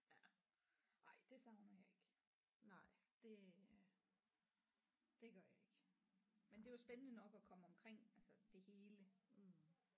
Ja ej det savner jeg ikke det øh det gør jeg ikke men det er jo spændende nok at komme omkring altså det hele